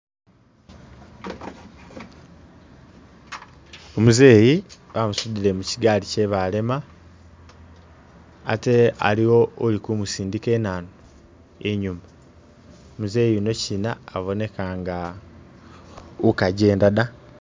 Umzeeyi bamusudile muchigaali chebalema ate aliwo uli kumusindika inanu inyuma muzeeyi uno china aboneka nga ukajenda ta